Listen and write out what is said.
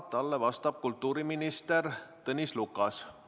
Talle vastab kultuuriminister Tõnis Lukas.